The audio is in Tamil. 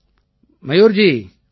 மயூர் ஜி வணக்கம்